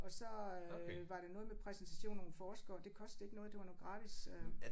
Og så øh var det noget med præsentation af nogle forskere og det kostede ikke noget det var noget gratis øh